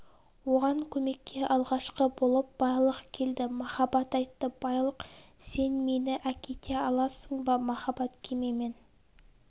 оған көмекке алғашқы болып байлық келді махаббат айтты байлық сен мені әкете аласың ба махаббат кемемен